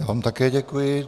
Já vám také děkuji.